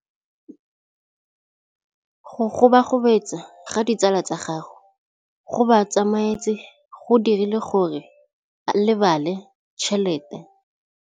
Go gobagobetsa ga ditsala tsa gagwe, gore ba tsamaye go dirile gore a lebale tšhelete.